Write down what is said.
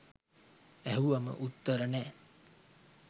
ඇහුවම උත්තර නෑ.